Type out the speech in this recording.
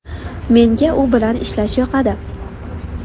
Menga u bilan ishlash yoqadi”.